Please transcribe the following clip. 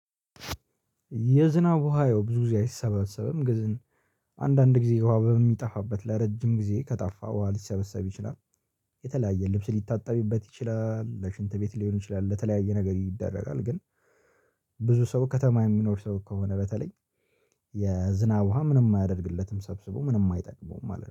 የዝናብ ውሃ ያው ብዙ ጊዜ አይሰባሰብም ገዝን አንዳንድ ጊዜ ውሃ በሚጠፋበት ለረጅም ጊዜ ከጠፋ ውሃ ሊሰበሰብ ይችላል። የተለያየ ልብስ ሊታጠቢበት ይችላል ለሽንት ቤት ሊሆን ይችላል ለተለያየ ነገር ይደረጋል። ግን ብዙ ሰው ከተማ የሚኖር ሰው ከሆነ በተለይ የዝናብ ውሃ ምንም አያደርግለትም ሰብስቦ ምንም አይጠቅመውም። አለ